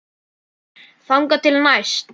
Þangað til næst.